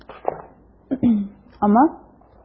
она